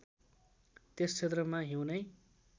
त्यस क्षेत्रमा हिउँनै